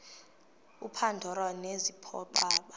upandora nezipho aba